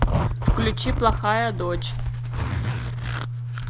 включи плохая дочь